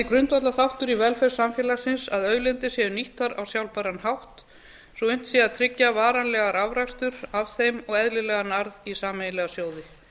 grundvallarþáttur í velferð samfélagsins að auðlindir séu nýttar á sjálfbæran hátt svo unnt sé að tryggja varanlegan afrakstur af þeim og eðlilegan arð í sameiginlega sjóði